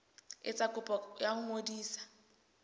etsa kopo ya ho ngodisa